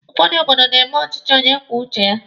Ụfọdụ obodo na-eme ọchịchị onye kwuo uche ya.